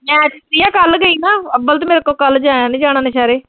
ਮੈਂ ਜੇ ਸੀਆ ਕੱਲ ਗਈ ਨਾ, ਅੱਬਲ ਤਾਂ ਮੈਥੋਂ ਕੱਲ ਜਾਇਆ ਨੀਂ ਜਾਣਾ ਸ਼ਹਿਰੇ।